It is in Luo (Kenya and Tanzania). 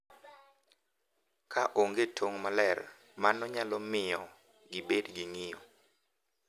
Ka onge tong’ maler, mano nyalo miyo gibed gi ng’iyo,